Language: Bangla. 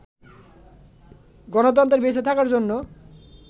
গণতন্ত্রের বেঁচে থাকার জন্য